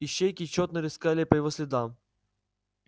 ищейки тщетно рыскали по его следам